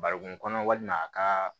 Barikon kɔnɔ walima a ka